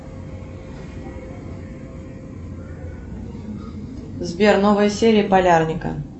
сбер новая серия полярника